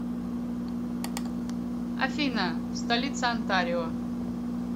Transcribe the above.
афина столица онтарио